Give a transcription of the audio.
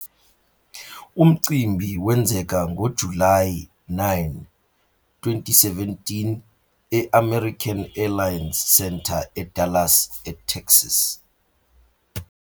Umcimbi wenzeka ngoJulayi 9, 2017, e- American Airlines Center eDallas, eTexas.